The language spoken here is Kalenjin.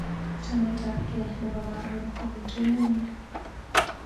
Chametab gee nebo karon ko betut nemyee.